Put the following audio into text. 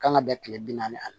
Kan ka bɛn kile bi naani ma